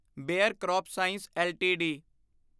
bear crop science LTD